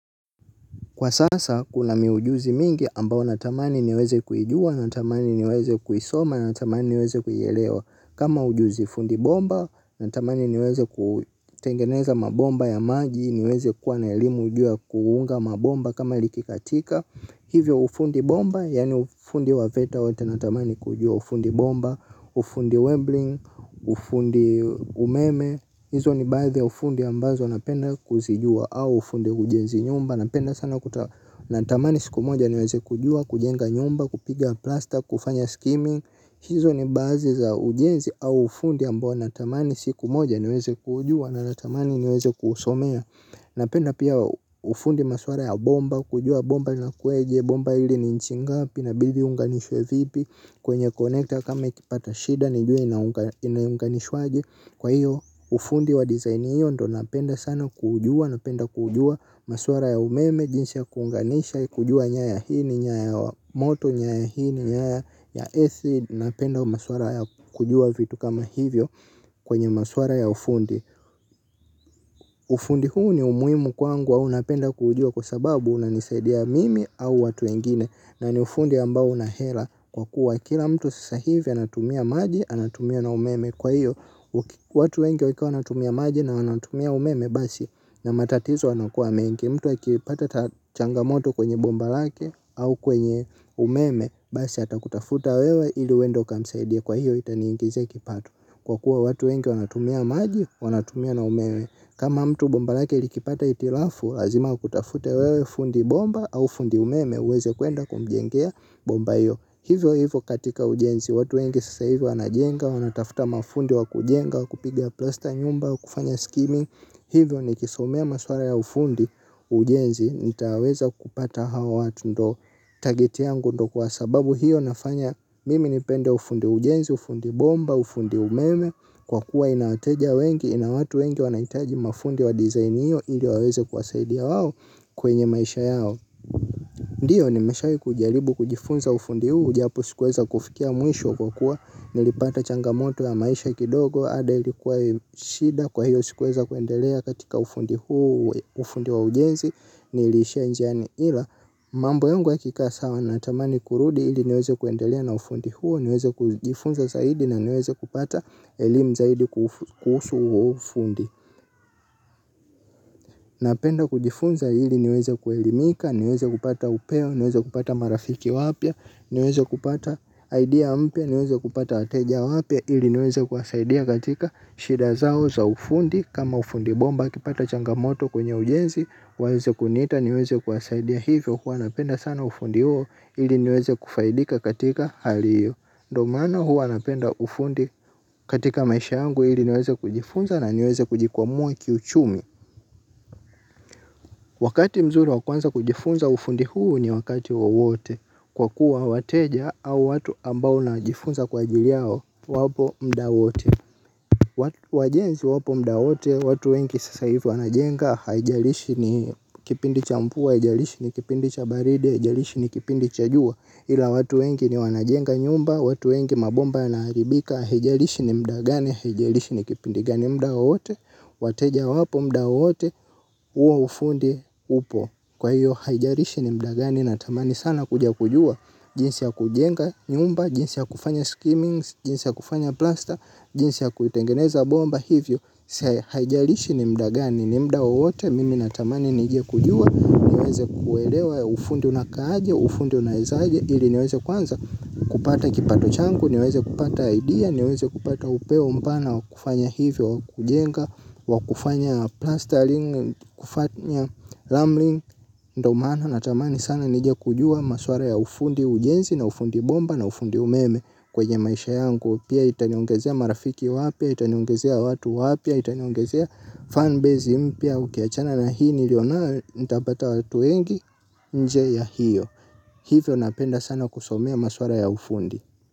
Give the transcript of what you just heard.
Kwa sasa kuna miujuzi mingi ambayo natamani niweze kujua, natamani niweze kuisoma, natamani niweze kuyelewa. Kama ujuzi fundi bomba, natamani niweze kutengeneza mabomba ya maji, niweze kuwa na elimu wa juu kuunga mabomba kama likikatika. Hivyo ufundi bomba, yani ufundi wa veta wate natamani kujua ufundi bomba, ufundi webling, ufundi umeme. Hizo ni baadhi ya ufundi ambazo napenda kuzijua au ufundi ujenzi nyumba. Napenda sana natamani siku moja niweze kujua, kujenga nyumba, kupiga plaster, kufanya skimi. Hizo ni baadhi za ujenzi au ufundi ambao natamani siku moja niwezekujua na natamani niweze kusomea. Napenda pia ufundi maswara ya bomba, kujua bomba na kueje, bomba hili ni inchi ngapi na bili unganishwe vipi. Kwenye connector kama ikipata shida, nijue ina unganishwaje. Kwa hiyo ufundi wa design hiyo ndo napenda sana kujua, napenda kujua maswara ya umeme, jinsi ya kuunganisha, kujua nyaya hii ni nyaya moto, nyaya hii ni, nyaya AC, napenda maswara ya kujua vitu kama hivyo kwenye maswara ya ufundi. Ufundi huu ni umuimu kwangu wa unapenda kujua kwa sababu unanisaidia mimi au watu wengine na ni ufundi ambao unahera kwa kuwa kila mtu sasa hivi anatumia maji anatumia na umeme. Kwa hiyo watu wenge wika wanatumia maji na wanatumia umeme basi na matatizo wanakua mengi. Mtu wa kilipata changamoto kwenye bomba lake au kwenye umeme basi atakutafuta wewe ili uende ukamsaidie kwa hiyo itaniingize kipatu. Kwa kuwa watu wenge wanatumia maji wanatumia na umeme. Kama mtu bomba lake ilikipata itilafu lazima kutafute wewe fundi bomba au fundi umeme uweze kuenda kumjengea bomba hiyo. Hivyo hivyo katika ujenzi, watu wengi sasa hivi anajenga, wanatafta mafundi wa kujenga, kupiga plaster nyumba, kufanya skimming. Hivyo nikisomea maswara ya ufundi ujenzi, nitaweza kupata hawa watu ndo target yangu ndo kwa sababu hiyo nafanya. Mimi nipende ufundi ujenzi, ufundi bomba, ufundi umeme, kwa kuwa ina wateja wengi, ina watu wengi wanaitaji mafundi wa design iyo. Ili waweze kuwasaidia wao kwenye maisha yao. Ndiyo nimeshawai kujalibu kujifunza ufundi huu, japo sikuweza kufikia mwisho kwa kuwa, nilipata changamoto ya maisha kidogo, ada ilikuwa shida kwa hiyo sikuweza kuendelea katika ufundi huu, ufundi wa ujenzi, nilishia njiani ila, mambo yungu yakika sawa natamani kurudi ili niweze kuendelea na ufundi huu, niweze kujifunza zaidi na niweze kupata elimu zaidi kuhusu ufundi. Napenda kujifunza ili niweze kuelimika, niweze kupata upeo, niweze kupata marafiki wapya, niweze kupata idea pya, niweze kupata wateja wapya, ili niweze kuasaidia katika shida zao za ufundi, kama ufundibomba kipata changamoto kwenye ujenzi, waeze kuniita, niweze kuwasaidia hivyo, huwa napenda sana ufundi huo, ili niweze kufaidika katika hali hiyo ndo maana huwa napenda ufundi katika maisha yangu ili niweze kujifunza na niweze kujikwamua kiuchumi. Wakati mzuri wa kuanza kujifunza ufundi huu ni wakati wawote. Kwa kuwa wateja au watu ambao na jifunza kwa ajili yao wapo mda wote. Wajenzi wapo mda wote watu wengi sasa hivi wanajenga haijalishi ni kipindi cha mvua aijalishi ni kipindi cha baridi aijalishi ni kipindi cha juwa hila watu wengi ni wanajenga nyumba, watu wengi mabomba yanaharibika, haijarishi ni mdagani, haijarishi ni kipindi gani mdawoote, wateja wapo mdawoote, huo ufundi upo. Kwa hiyo haijarishi ni mda gani natamani sana kuja kujua, jinsi ya kujenga nyumba, jinsi ya kufanya skimming, jinsi ya kufanya plaster, jinsi ya kutengeneza bomba hivyo. Sia haijalishi ni mda gani ni mda wote mimi natamani nijia kujua niweze kuelewa ya ufundi una kaje ufundi una izaje ili niweze kwanza kupata kipato changu niweze kupata idea niweze kupata upeo mpana wa kufanya hivyo wa kujenga wa kufanya plastering kufanya lambling. Ndo maana natamani sana nije kujua maswara ya ufundi ujenzi na ufundi bomba na ufundi umeme kwenye maisha yangu. Pia itaniongezea marafiki wapya, itanyongezea watu wapya, itanyongezea fanbase mpya ukiachana na hii nilio nayo nitapata watu wengi nje ya hiyo. Hivyo napenda sana kusomea maswara ya ufundi.